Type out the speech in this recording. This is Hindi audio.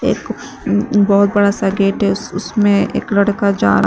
बहोत बड़ा सा गेट है उस उसमें एक लड़का जा रहा--